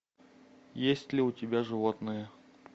есть ли у тебя животные